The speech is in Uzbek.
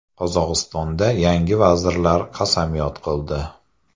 Qozog‘istonda yangi vazirlar qasamyod qildi.